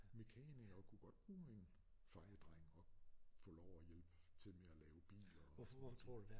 Mekanikere kunne godt bruge en fejedreng og få lov at hjælpe til med at lave biler og sådan nogle ting